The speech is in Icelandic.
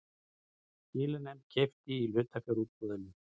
Skilanefnd keypti í hlutafjárútboði